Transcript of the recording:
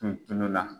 Tun tulo la